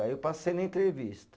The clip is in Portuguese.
Aí eu passei na entrevista.